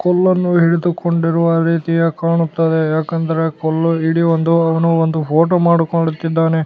ಕೊಲ್ಲನ್ನು ಹಿಡಿದುಕೊಂಡಿರುವ ರೀತಿಯೆ ಕಾಣುತ್ತದೆ ಯಾಕಂದರೆ ಕೊಲ್ಲು ಹಿಡಿಯೊಂದು ಅವನ ಒಂದು ಫೋಟೋ ಮಾಡು ಮಾಡುತ್ತಿದ್ದಾನೆ.